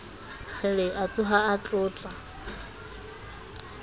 kgele a tsoha a tlola